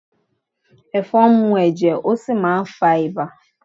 Ẹ̀fọn ń mú ẹ̀jẹ̀, ó sì máà ń fá ibà